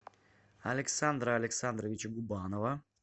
александра александровича губанова